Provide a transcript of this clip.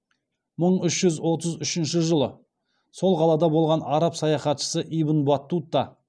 мың үш жүз отыз үшінші жылы сол қалада болған араб саяхатшысы ибн батута